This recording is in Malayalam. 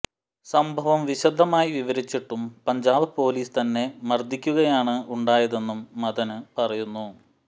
സംഭവം വിശദമായി വിവരിച്ചിട്ടും പഞ്ചാബ് പോലീസ് തന്നെ മര്ദ്ദിക്കുകയാണ് ഉണ്ടായതെന്നും മദന് പറയുന്നു